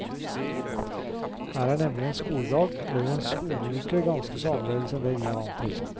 Her er nemlig en skoledag, eller en skoleuke, ganske så annerledes enn det vi er vant til.